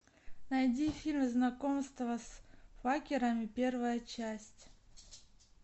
найди фильм знакомство с факерами первая часть